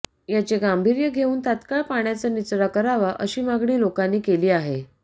याचे गांभीर्य घेवून तात्काळ पाण्याचा निचरा करावा अशी मागणी लोकांनी केली आहे